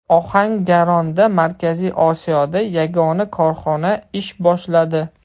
Ohangaronda Markaziy Osiyoda yagona korxona ish boshladi.